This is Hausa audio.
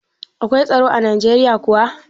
Akwai tsaro a Ninkaya kuwa?